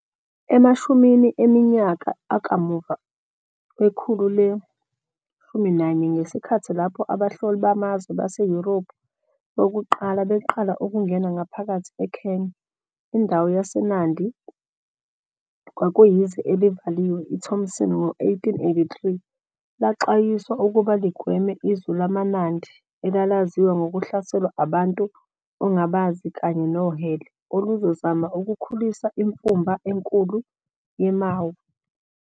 Emashumini eminyaka akamuva wekhulu le-19, ngesikhathi lapho abahloli bamazwe baseYurophu bokuqala beqala ukungena ngaphakathi eKenya, indawo yaseNandi kwakuyizwe elivaliwe iThompson ngo-1883 laxwayiswa ukuba ligweme izwe lamaNandi, elalaziwa ngokuhlaselwa abantu ongabazi kanye nohele oluzozama ukukhulisa imfumba enkulu yeMau.